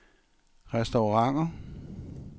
restauranter